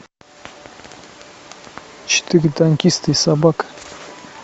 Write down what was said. четыре танкиста и собака